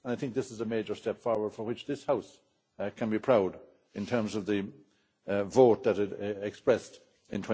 I think this is a major step forward for which this House can be proud in terms of the vote that it expressed in